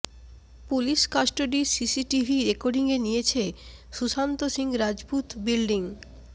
police custody CCTV রেকর্ডিংয়ে নিয়েছে Sushant Singh Rajput building